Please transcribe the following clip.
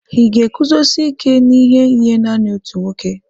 Ị̀ ga-eguzosi ike n'ihe nye nanị otu nwoke?